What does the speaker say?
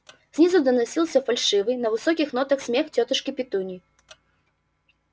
снизу доносился фальшивый на высоких нотах смех тётушки петуньи